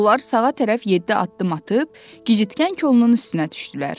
Onlar sağa tərəf yeddi addım atıb, gicitkən kolunun üstünə düşdülər.